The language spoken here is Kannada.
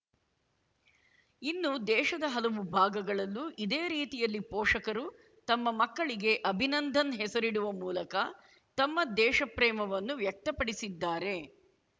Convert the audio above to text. ಇನ್ನು ದೇಶದ ಹಲವು ಭಾಗಗಳಲ್ಲೂ ಇದೇ ರೀತಿಯಲ್ಲಿ ಪೋಷಕರು ತಮ್ಮ ಮಕ್ಕಳಿಗೆ ಅಭಿನಂದನ್‌ ಹೆಸರಿಡುವ ಮೂಲಕ ತಮ್ಮ ದೇಶಪ್ರೇಮವನ್ನು ವ್ಯಕ್ತಪಡಿಸಿದ್ದಾರೆ